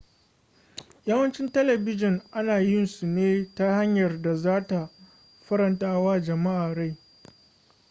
yawancin telebijin ana yin su ne ta hanyar da za ta faranta wa jama'a rai